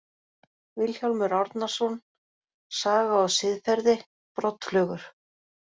Vilhjálmur Árnason, Saga og siðferði, Broddflugur.